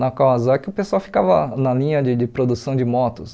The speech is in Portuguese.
Na Kawasaki o pessoal ficava na linha de de produção de motos.